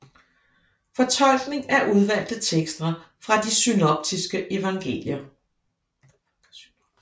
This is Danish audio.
Fortolkning af udvalgte tekster fra de synoptiske evangelier